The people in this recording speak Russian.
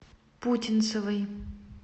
путинцевой